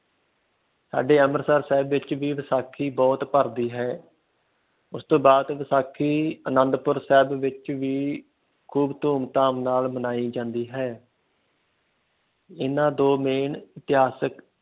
ਸਾਡੇ ਅੰਮ੍ਰਿਤਸਰ ਸ਼ਹਿਰ ਵਿਚ ਵੀ ਵਿਸਾਖੀ ਬਹੁਤ ਭਰ ਦੀ ਹੈ। ਉਸ ਤੋਂ ਬਾਅਦ ਵਿਸਾਖੀ ਅਨੰਦਪੁਰ ਸਾਹਿਬ ਵਿਚ ਵੀ ਖੂਬ ਧੂਮ ਧਾਮ ਨਾਲ ਮਨਾਈ ਜਾਂਦੀ ਹੈ। ਇਨ੍ਹਾਂ ਤੋਂ ਇਤਿਹਾਸਿਕ